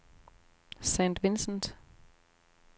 St. Vincent